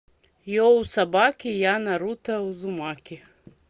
йоу собаки я наруто узумаки